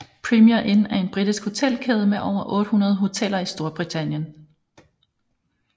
Premier Inn er en britisk hotelkæde med over 800 hoteller i Storbritannien